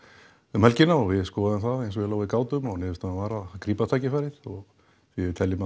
um helgina og við skoðuðum það eins vel og við gátum og niðurstaðan var að grípa tækifærið því við teljum